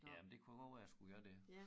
Jamen det kunne godt være jeg skulle gøre det